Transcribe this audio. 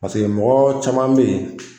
Paseke mɔgɔ caman be yen